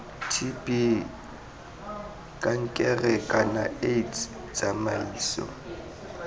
tb kankere kana aids tsamaiso